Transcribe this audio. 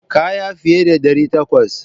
Kaya fiye da ɗari takwas.